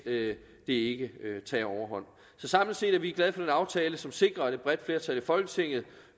det ikke tager overhånd så samlet set er vi glade for den aftale som sikrer at et bredt flertal i folketinget